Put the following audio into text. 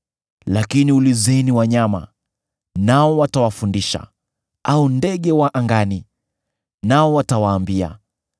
“Lakini ulizeni wanyama, nao watawafundisha, au ndege wa angani, nao watawaambia;